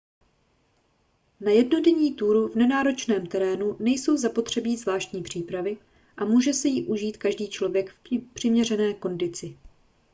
na jednodenní túru v nenáročném terénu nejsou zapotřebí zvláštní přípravy a může si ji užít každý člověk v přiměřené kondici